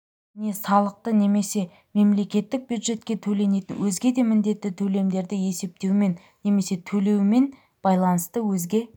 не салықты немесе мемлекеттік бюджетке төленетін өзге де міндетті төлемдерді есептеумен немесе төлеумен байланысты өзге